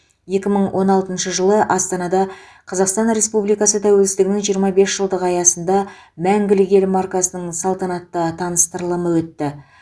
екі мың он алтыншы жылы астанада қазақстан республикасы тәуелсіздігінің жиырма бес жылдығы аясында мәңгілік ел маркасының салтанатты таныстырылымы өтті